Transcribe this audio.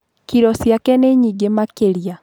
Kiro ciake nĩ nyingĩ makĩria.